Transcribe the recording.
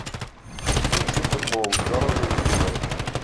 включи футбол бернли ливер